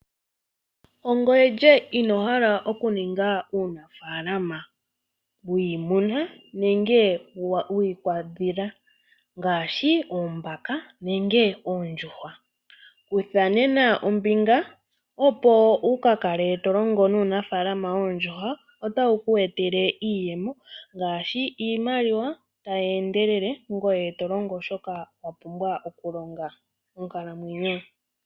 Ongoye lye inoohala oku ninga uunafaalama gwiimuna nenge gwiikwamawawa ngaashi oombaka nenge oondjuhwa. Kutha nena ombinga opo wuka kale tolongo nuunafaalama woondjuhwa, ota wu ku etele iiyemo ngaashi iimaliwa ta yi endelele, ngweye tologo shoka wapumbwa oku longa monkalamwenyo yoye.